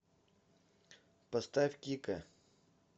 поставь кика